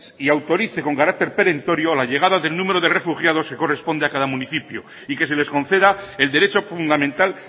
y autorice con carácter perentorio la llegada del número de refugiados que corresponde a cada municipio y que se les conceda el derecho fundamental